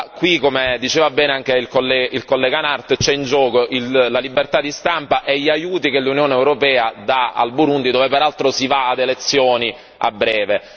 Qui, come diceva bene anche il collega Nart, sono in gioco la libertà di stampa e gli aiuti che l'Unione europea dà al Burundi, dove peraltro si va ad elezioni a breve.